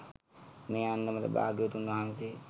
මේ අන්දමට භාග්‍යවතුන් වහන්සේ